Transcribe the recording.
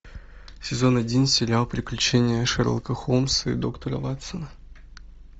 сезон один сериал приключения шерлока холмса и доктора ватсона